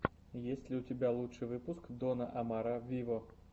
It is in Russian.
есть ли у тебя лучший выпуск дона омара виво